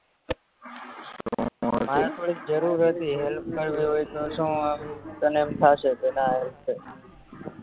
help કરવી હોય તો શું આમ તને એમ થાશે કે ના